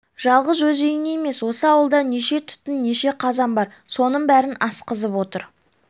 жалғыз өз үйің емес осы ауылда неше түтін неше қазан бар соның бәрін асқызып отыр